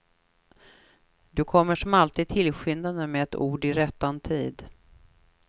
Du kommer som alltid tillskyndande med ett ord i rättan tid.